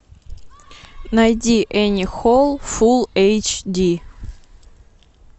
найди энни холл фулл эйч ди